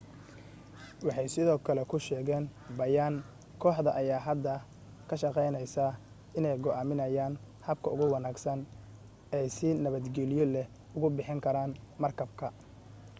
waxay sidoo kale ku sheegeen bayaan kooxda ayaa hadda ka shaqaynaysaa inay go'aamiyaan habka ugu wanaagsan ay si nabadgeliyo leh ugu bixin karaan markabka